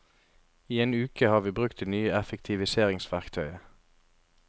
I en uke har vi brukt det nye effektiviseringsverktøyet.